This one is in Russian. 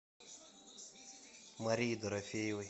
марии дорофеевой